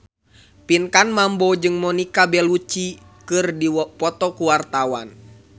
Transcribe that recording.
Pinkan Mambo jeung Monica Belluci keur dipoto ku wartawan